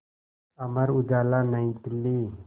Amar Ujala New Delhi